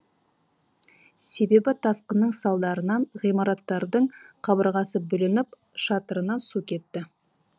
себебі тасқынның салдарынан ғимараттардың қабырғасы бүлініп шатырынан су кетті